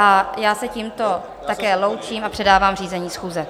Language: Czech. A já se tímto také loučím a předávám řízení schůze.